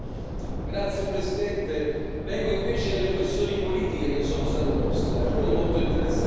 Grazie Presidente, vengo invece alle questioni politiche che sono state poste, alcune molto interessanti.